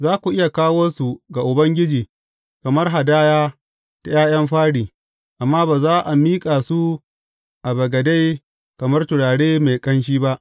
Za ku iya kawo su ga Ubangiji kamar hadaya ta ’ya’yan fari, amma ba za a miƙa su a bagade kamar turare mai ƙanshi ba.